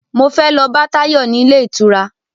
Mo fẹ́ lọ bá Táyọ̀ ní ilé ìtura